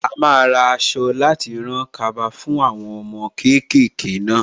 A máa ra aṣọ láti rán kaba fún àwọn ọmọ kéékèèké náà.